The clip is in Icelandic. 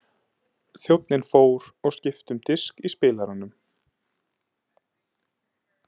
Þjónninn fór og skipti um disk í spilaranum.